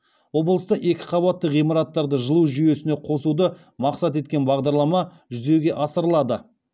облыста екі қабатты ғимараттарды жылу жүйесіне қосуды мақсат еткен бағдарлама жүзеге асырылады